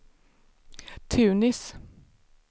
Tunis